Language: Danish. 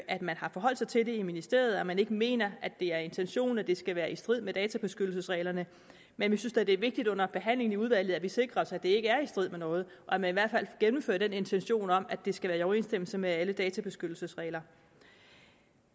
at man har forholdt sig til det i ministeriet og at man ikke mener at det er intentionen at det skal være i strid med databeskyttelsesreglerne men vi synes da det er vigtigt under behandlingen i udvalget at vi sikrer os at det ikke er i strid med noget og at man i hvert fald gennemfører den intention om at det skal være i overensstemmelse med alle databeskyttelsesregler